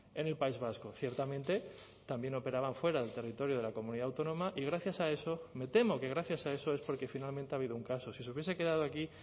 en el país vasco ciertamente también operaban fuera del territorio de la comunidad autónoma y gracias a eso me temo que gracias a eso es porque finalmente ha habido un caso si se hubiese quedado aquí